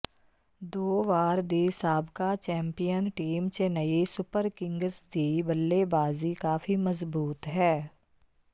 ਦੋ ਵਾਰ ਦੀ ਸਾਬਕਾ champion team Chennai Super Kings ਦੀ ਬੱਲੇਬਾਜ਼ੀ ਕਾਫੀ ਮਜ਼ਬੂਤ ਹੈ